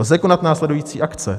Lze konat následující akce?